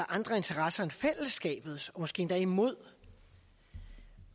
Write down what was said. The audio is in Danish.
andre interesser end fællesskabets måske endda imod